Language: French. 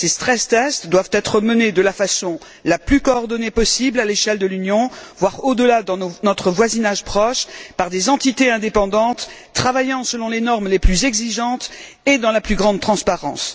Ces doivent être menés de la façon la plus coordonnée possible à l'échelle de l'Union, voire au delà dans notre voisinage proche, par des entités indépendantes travaillant selon les normes les plus exigeantes et dans la plus grande transparence.